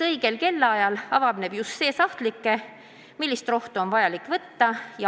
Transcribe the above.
Õigel kellaajal avaneb just see sahtlike, kust on rohtu vaja võtta.